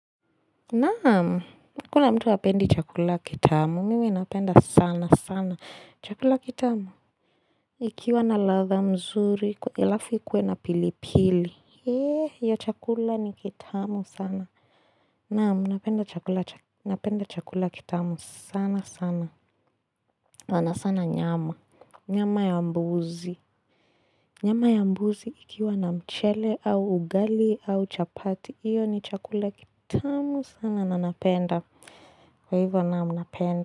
Naam, kuna mtu hapendi chakula kitamu. Mimi napenda sana sana. Chakula kitamu. Ikiwa na ladha mzuri, alafu ikuwe na pilipili. Heee, hiyo chakula ni kitamu sana. Naam, napenda chakula kitamu sana sana. Na sana nyama. Nyama ya mbuzi. Nyama ya mbuzi ikiwa na mchele au ugali au chapati. Iyo ni chakula kitamu sana. Na na napenda, kwa hivyo naam, napenda.